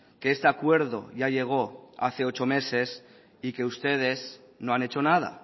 que este acuerdo ya llegó hace ocho meses y que ustedes no han hecho nada